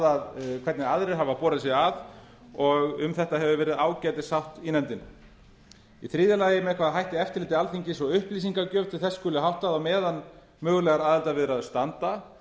skoðað hvernig aðrir hafa borið sig að og um þetta hefur verið ágætissátt í nefndinni í þriðja lagi með hvaða hætti eftirliti alþingis og upplýsingagjöf til þess skuli háttað á meðan mögulegar aðildarviðræður standa